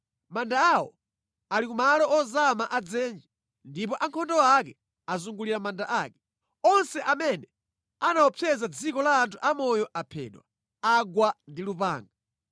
Manda awo ali kumalo ozama a dzenje, ndipo ankhondo ake azungulira manda ake. Onse amene anaopseza dziko la anthu amoyo aphedwa, agwa ndi lupanga.